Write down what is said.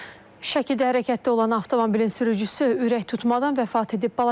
Şəkidə hərəkətdə olan avtomobilin sürücüsü ürək tutmadan vəfat edib.